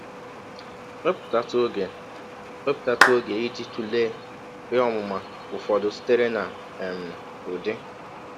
Wepụtatụ ọge Wepụtatụ ọge iji tụlee ihe ọmụma ụfọdụ sitere na um Udi.